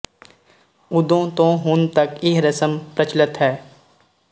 ਉਦੋਂ ਤੋਂ ਹੁਣ ਤੱਕ ਇਹ ਰਸਮ ਪ੍ਰਚਲਤ ਹੈ